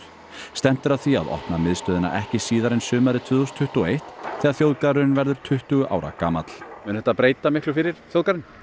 stefnt er að því að opna miðstöðina ekki síðar en sumarið tvö þúsund tuttugu og eitt þegar þjóðgarðurinn verður tuttugu ára gamall mun þetta breyta miklu fyrir þjóðgarðinn